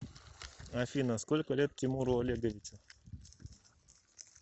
афина сколько лет тимуру олеговичу